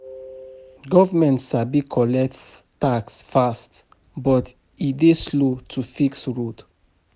Government sabi collect tax fast, but e dey slow to fix road.